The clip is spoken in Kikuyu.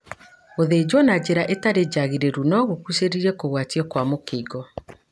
Gũthĩnjuo na njĩra ĩtarĩ njagĩrĩru no gũcungĩrĩrie Kũgwatanio kwa mũkingo.